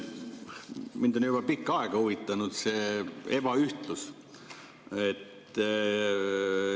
Mind on juba pikka aega huvitanud see ebaühtlus.